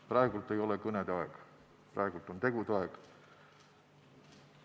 Praegu ei ole kõnede aeg, praegu on tegude aeg.